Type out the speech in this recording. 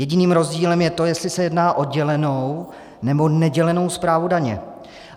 Jediným rozdílem je to, jestli se jedná o dělenou, nebo nedělenou správu daně.